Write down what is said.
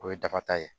O ye dakata ye